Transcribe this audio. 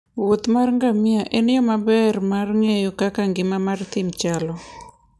wuoth mar ngamia en yo maber mar ng'eyo kaka ngima mar thim chalo.